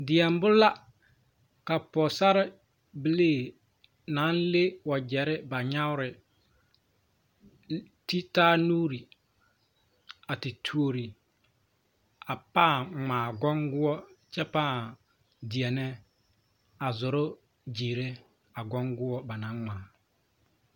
Deɛmbo la ka pɔgesarrebilii n as ŋ le wagyere ba nyaare ti taa nuuri a te tuuri a pãã ŋmaa goŋgoɔ kyɛ pãã deɛnɛ a zoro gyeerɛ a goŋgoɔ ba naŋ ŋmaa.